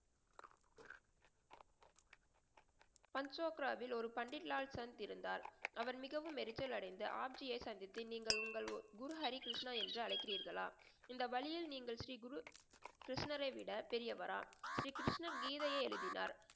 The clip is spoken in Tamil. பன்சொப்ரவில் ஒரு பண்டித் லால் சந் இருந்தார். அவர் மிகவும் எரிச்சலடைந்து ஆட்சியை சந்தித்து நீங்கள் உங்கள் குரு ஹரி கிருஷ்ணா என்று அழைக்குரீர்களா? இந்த வழயில் நீங்கள் ஸ்ரீ குரு கிருஷ்ணரை விட பெரியவரா? ஸ்ரீ கிருஷ்ணர் கீதையை எழுதினார்.